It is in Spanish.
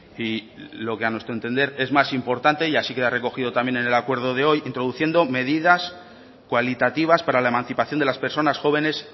y lo que a nuestro entender es más importante y así queda recogido también en el acuerdo de hoy introduciendo medidas cualitativas para la emancipación de las personas jóvenes